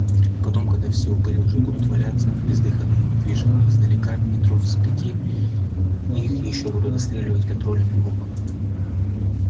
и потом когда все упыри уже будут валяться бездыханные и недвижимые издалека метров с пяти их ещё будут достреливать контрольным в голову